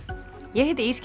ég heiti